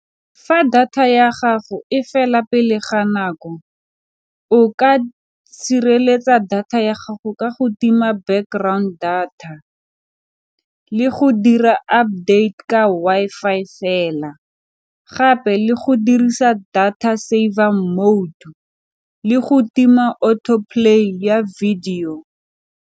Fa data ya gago e fela pele ga nako, o ka sireletsa data ya gago ka go tima background data le go dira update ka Wi-Fi fela, gape le go dirisa data server mode le go tima auto play ya video.